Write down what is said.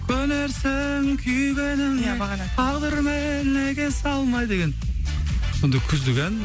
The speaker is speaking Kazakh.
көнерсің күйгеніңе ия бағана тағдырмен егесе алмай деген сондай күздік ән